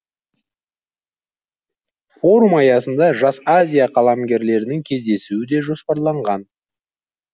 форум аясында жас азия қаламгерлерінің кездесуі де жоспарланған